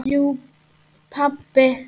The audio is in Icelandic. Jú pabbi.